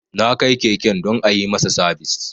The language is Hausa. Na kai keken don a yi masa sabis